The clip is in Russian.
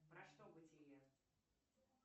про что бытие